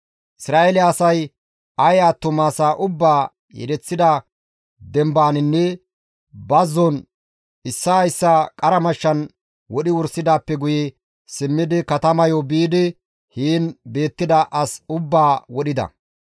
Isra7eele asay Aye attuma asaa ubbaa yedeththida dembaninne bazzon issaa issaa qara mashshan wodhi wursidaappe guye simmidi katamayo biidi heen beettida as ubbaa wodhida.